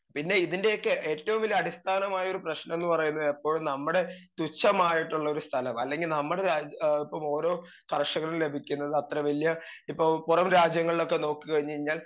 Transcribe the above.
speaker 2 പിന്നെ ഇതിൻ്റെ ഒക്കെ ഏറ്റോം വലിയ അടിസ്ഥാനമായൊരു പ്രശ്‌നം ന്ന് പറയുന്നത് എപ്പഴും നമ്മടെ തുച്ഛമായിട്ടുള്ളൊരു സ്ഥലം അല്ലെങ്കി നമ്മടെ രാ ഏ ഇപ്പൊ ഓരോ കർഷകനും ലഭിക്കുന്നതത്ര വലിയ ഇപ്പൊ പൊറം രാജ്യങ്ങളിലൊക്കെ നോക്കി കഴിഞ്ഞയ്ഞ്ഞാൽ